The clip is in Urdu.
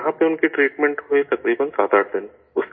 یہاں پر ان کی ٹریٹمنٹ ہوئی تقریباً 87 دن